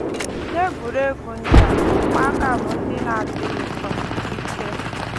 N’egwuregwu ndị a, ụmụaka bụ ndị ndị na-adịghị um ike